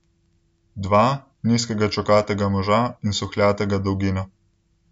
Dva, nizkega čokatega moža in suhljatega dolgina.